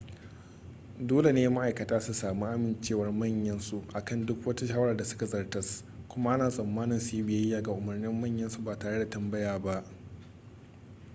dole ne ma'aikata su sami amincewar manyan su akan duk wata shawara da suka zartas kuma ana tsammanin su yi biyayya ga umarnin manyan su ba tare da tambaya ba